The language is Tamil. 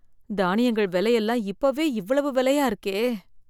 தானியங்கள் வில எல்லாம் இப்பவே இவ்வளவு விலையா இருக்கே